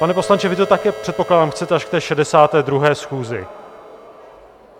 Pane poslanče, vy to také, předpokládám, chcete až k té 62. schůzi.